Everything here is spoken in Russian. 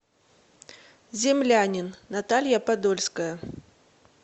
землянин наталья подольская